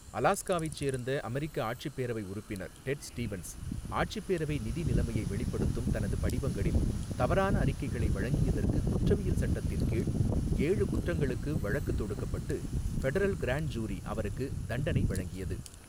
அலாஸ்காவைச் சேர்ந்த அமெரிக்க ஆட்சிப் பேரவை உறுப்பினர் டெட் ஸ்டீவன்ஸ் ஆட்சிப் பேரவை நிதி நிலைமையை வெளிப்படுத்தும் தனது படிவங்களில் தவறான அறிக்கைகளை வழங்கியதற்குக் குற்றவியல் சட்டத்தின் கீழ் ஏழு குற்றங்களுக்கு வழக்கு தொடுக்கப்பட்டு ஃபெடரல் கிராண்டு ஜூரி அவருக்குத் தண்டனை வழங்கியது.